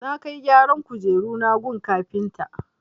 Na kai gyaran kujeruna gun kafinta.